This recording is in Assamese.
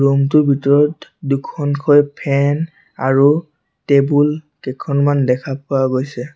ৰুম টোৰ ভিতৰত দুখনকৈ ফেন আৰু টেবুল কেইখনমান দেখা পোৱা গৈছে।